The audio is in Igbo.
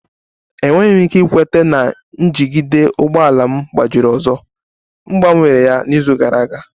Enweghị m ike ikweta na njigide ụgbọ ala m gbajiri ọzọ, m gbanwere ya n'izu gara aga